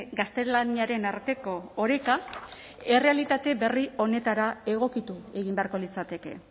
gaztelaniaren arteko oreka errealitate berri honetara egokitu egin beharko litzateke